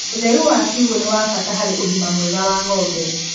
ũtheru wa kiugũ nĩwabata harĩ ũgima mwega wa ngombe.